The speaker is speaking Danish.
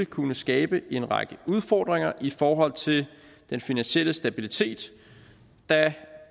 kunne skabe en række udfordringer i forhold til den finansielle stabilitet da